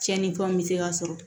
Tiɲɛnifɛnw bɛ se ka sɔrɔ